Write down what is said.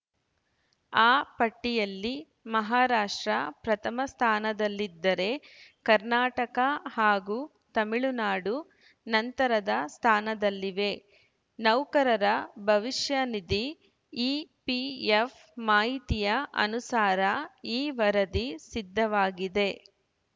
ಆ ಪಟ್ಟಿಯಲ್ಲಿ ಮಹಾರಾಷ್ಟ್ರ ಪ್ರಥಮ ಸ್ಥಾನದಲ್ಲಿದ್ದರೆ ಕರ್ನಾಟಕ ಹಾಗೂ ತಮಿಳುನಾಡು ನಂತರದ ಸ್ಥಾನದಲ್ಲಿವೆ ನೌಕರರ ಭವಿಷ್ಯ ನಿಧಿ ಇಪಿಎಫ್‌ ಮಾಹಿತಿಯ ಅನುಸಾರ ಈ ವರದಿ ಸಿದ್ಧವಾಗಿದೆ